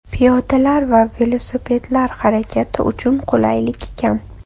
Piyodalar va velosipedlar harakati uchun qulaylik kam.